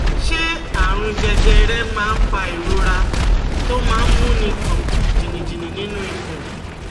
Ṣé àrùn jẹjẹrẹ máa ń fa ìrora tó máa ń múni gbọ̀n jìnnìjìnnì nínú ikùn?